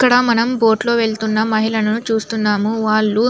ఇక్కడ మనం బోట్ లో వెళ్తున్న మహిళను చుస్తున్నాం వాళ్ళు --